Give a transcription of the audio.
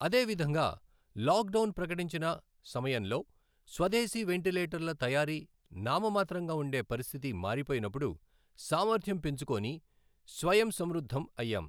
అదే విధంగా lockdown ప్రకటించిన సమయంలో స్వదేశీ వెంటిలేటర్ల తయారీ నామమాత్రంగా ఉండే పరిస్థితి మారిపోయినప్పుడు సామర్థ్యం పెంచుకొని స్వయం సమృద్ధం అయ్యాం.